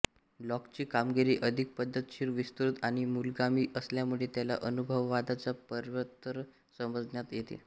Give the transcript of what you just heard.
लॉकची कामगिरी अधिक पद्धतशीर विस्तृत आणि मूलगामी असल्यामुळे त्याला अनुभववादाचा प्रवर्तक समजण्यात येते